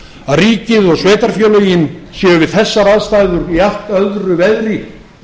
að ríkið og sveitarfélögin séu við þessar aðstæður í allt öðru veðri